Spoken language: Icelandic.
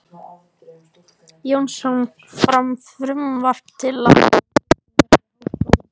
Jónsson, fram frumvarp til laga um byggingu fyrir Háskóla